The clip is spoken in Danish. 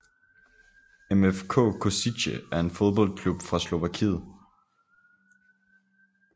MFK Košice er en fodboldklub fra Slovakiet